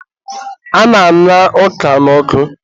a na-aña ọka n'ọkụ